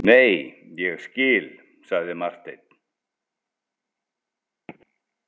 Nei, ég skil, sagði Marteinn.